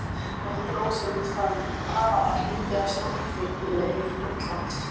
Og heldur ósennileg staðhæfing: PANAMA HLUTI AF STÓRFENGLEIK INDLANDS.